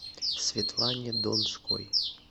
светлане донской